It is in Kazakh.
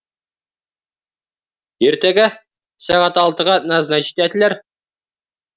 ертегі сағат алтыға назначит етілер